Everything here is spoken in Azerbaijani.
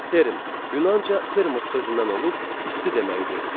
Term, Yunanca termos sözündən olub isti deməkdir.